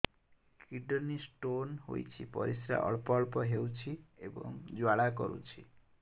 kidney stone ହୋଇଛି ପରିସ୍ରା ଅଳ୍ପ ଅଳ୍ପ ହେଉଛି ଏବଂ ଜ୍ୱାଳା କରୁଛି